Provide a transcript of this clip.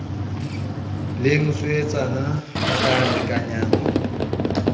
le mosuwetsana ba ka lekanyang